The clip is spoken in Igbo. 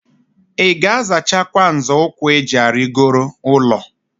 II ga-azachakwa nzo ukwu eji arigoro ulo?